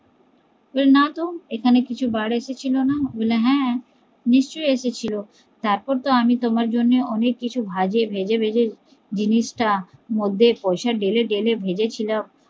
বলে নাতো এখানে কিছু বার এসেছিলো না, বলে হ্যা নিশ্চই এসে ছিল তারপর তো আমি তোমার জন্য অনেক কিছু ভেজে ভেজে জিনিস তা মধ্যে পয়সা ঢেলে ঢেলে ভেজেছিলাম